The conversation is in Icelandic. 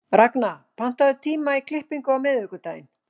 Ragna, pantaðu tíma í klippingu á miðvikudaginn.